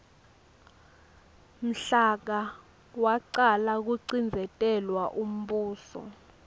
mhla ka wacala kucindzetelwa umbuso